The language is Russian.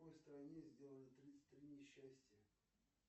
в какой стране сделаны тридцать три несчастья